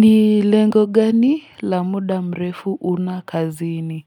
Ni lengo gani la muda mrefu una kazini?